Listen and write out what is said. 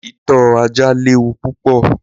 Ìtọ́ ajá léwu púpọ̀